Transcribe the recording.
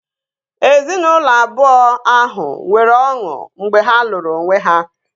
Ezinaụlọ abụọ ahụ nwere ọṅụ mgbe ha lụrụ onwe ha